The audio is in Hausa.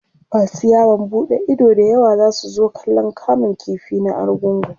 masu yawon buɗe Ido da yawa zasu zo kallan kamun ƙifi na argungu